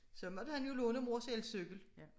Så måtte han jo låne mors elcyklen